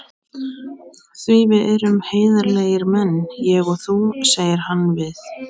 Því við erum heiðarlegir menn, ég og þú, segir hann við